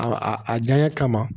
A a janya kama